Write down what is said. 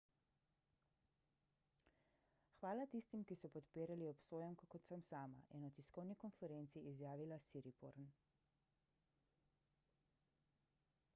hvala tistim ki so podpirali obsojenko kot sem sama je na tiskovni konferenci izjavila siriporn